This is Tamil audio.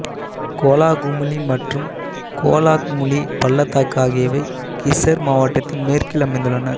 கோலாகுமுலி மற்றும் கோலாக்முலி பள்ளத்தாக்கு ஆகியவை கிசர் மாவட்டத்த்தின் மேற்கில் அமைந்துள்ளன